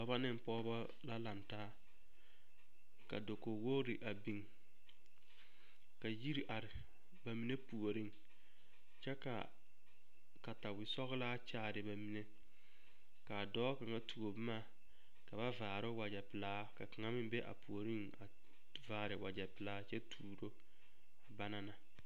Dɔbɔ ne Pɔgebɔ la lantaa, ka dakogi wogiri a biŋ, ka yiri are bamine puoriŋ kyɛ ka katawe sɔgelaa kyaare bamine, k'a dɔɔ kaŋa tuo boma ka ba vaare o wagyɛ pelaa, ka a kaŋa meŋ be a puoriŋ a vaare wagyɛ pelaa kyɛ tuuro a bana na.